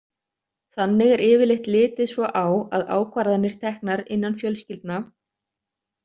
Þannig er yfirleitt litið svo á að ákvarðanir teknar innan fjölskyldna.